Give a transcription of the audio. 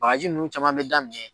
Bagaji nun caman be daminɛ